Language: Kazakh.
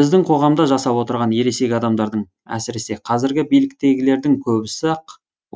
біздің қоғамда жасап отырған ересек адамдардың әсіресе қазіргі биліктегілердің көбісі ақ